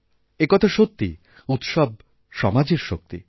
একথা সত্যি উৎসব সমাজের শক্তি